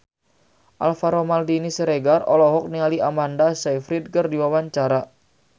Alvaro Maldini Siregar olohok ningali Amanda Sayfried keur diwawancara